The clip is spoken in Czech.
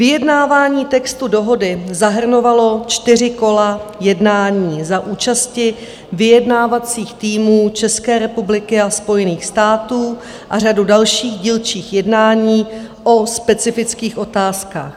Vyjednávání textu dohody zahrnovalo čtyři kola jednání za účasti vyjednávacích týmů České republiky a Spojených států a řadu dalších dílčích jednání o specifických otázkách.